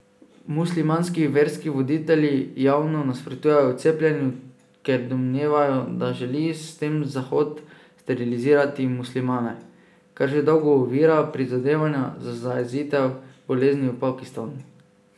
Muslimanski verski voditelji javno nasprotujejo cepljenju, ker domnevajo, da želi s tem Zahod sterilizirati muslimane, kar že dolgo ovira prizadevanja za zajezitev bolezni v Pakistanu.